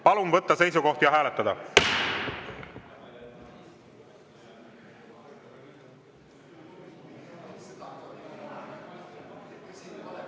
Palun võtta seisukoht ja hääletada!